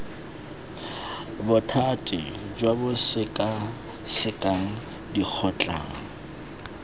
bothati jo bo sekasekang dikgotlang